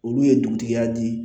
Olu ye dugutigiya di